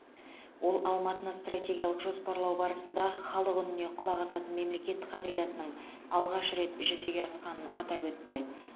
ол алматыны стратегиялық жоспарлау барысында халық үніне құлақ асатын мемлекет қағидатының алғаш рет жүзеге асқанын атап өтті